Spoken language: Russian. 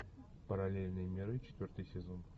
параллельные миры четвертый сезон